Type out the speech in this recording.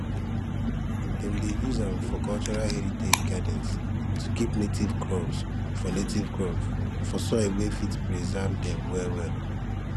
dem dey use am for cultural heritage gardens to keep native crops for native crops for soil wey fit preserve dem wellwell